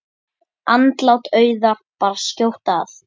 Andlát Auðar bar skjótt að.